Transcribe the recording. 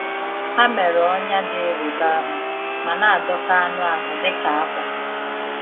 Ha mere ọnyá dị ịrịba ama, ma na adọka anụ ahụ dịka akwa.